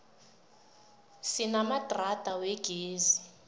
sinamadrada wegezi